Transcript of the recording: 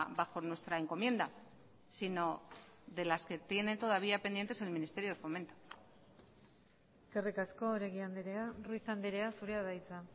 bajo nuestra encomienda sino de las que tiene todavía pendientes el ministerio de fomento eskerrik asko oregi andrea ruiz andrea zurea da hitza